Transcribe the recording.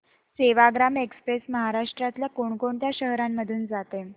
Sevagram express महाराष्ट्रातल्या कोण कोणत्या शहरांमधून जाते